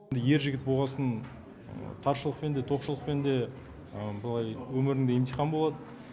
ер жігіт болғасын таршылықпен де тоқшылықпен де өмірімде емтихан болады